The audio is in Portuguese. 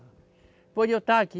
Depois de eu estar aqui,